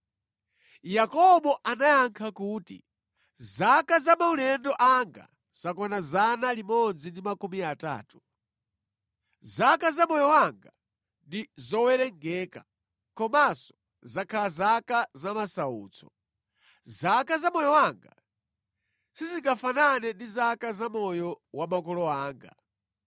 Yakobo anayankha kuti, “Zaka za maulendo anga zakwana 130. Zaka za moyo wanga ndi zowerengeka, komanso zakhala zaka za masautso. Zaka za moyo wanga sizingafanane ndi zaka za moyo wa makolo anga.”